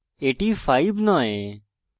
এটি 5 নয়